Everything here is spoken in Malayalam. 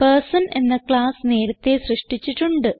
പെർസൻ എന്ന ക്ളാസ് നേരത്തേ സൃഷ്ടിച്ചിട്ടുണ്ട്